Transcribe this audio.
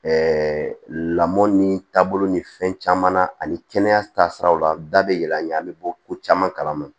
lamɔ ni taabolo ni fɛn caman na ani kɛnɛya taasiraw la an da bɛ yɛlɛ an ɲɛ an bɛ bɔ ko caman kalama